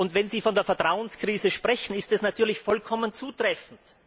Wenn Sie von der Vertrauenskrise sprechen, ist das natürlich vollkommen zutreffend.